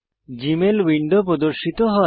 Gmail window প্রদর্শিত হয়